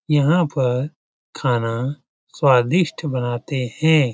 यहाँ पर खाना स्वादिष्ट बनाते हैं।